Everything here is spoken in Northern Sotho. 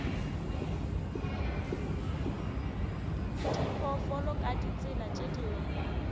diphoofolo ka ditsela tše dingwe